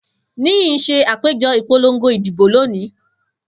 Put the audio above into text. Niyi n ṣe apejọ ipolongo idibo loni.